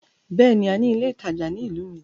Bẹ́ẹ̀ni, a ní ilé ìtajà ní ìlú mi.